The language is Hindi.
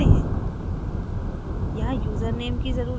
और हम इस पेज पर जाते हैं